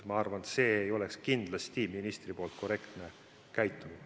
Ma arvan, et see ei oleks kindlasti ministri poolt korrektne käitumine.